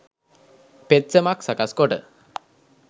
පෙත්සමක්‌ සකස්‌ කොට